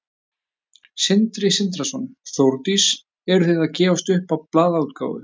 Sindri Sindrason: Þórdís, eru þið að gefast upp á blaðaútgáfu?